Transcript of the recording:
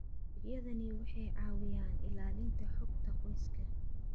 Adeegyadani waxay caawiyaan ilaalinta xogta qoyska.